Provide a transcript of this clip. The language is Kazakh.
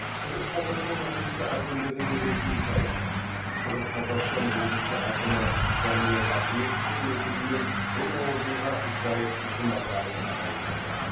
шығыс қазақстан облысы әкімдігінің ресми сайты шығыс қазақстан облысы әкімі даниал ахметовтің өкімімен бұл лауазымға жайық жұмаханов тағайындалды